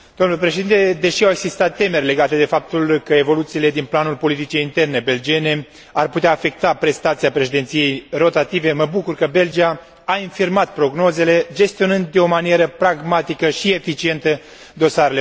Deși au existat temeri legate de faptul că evoluțiile din planul politicii interne belgiene ar putea afecta prestația președinției rotative, mă bucur că Belgia a infirmat prognozele, gestionând de o manieră pragmatică și eficientă dosarele europene.